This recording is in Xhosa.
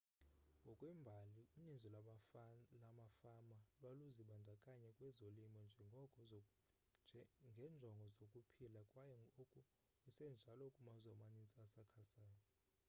ngokwembali uninzi lwamafama lwaluzibandakanya kwezolimo ngenjongo zokuphila kwaye oku kusenjalo kumazwe amaninzi asakhasayo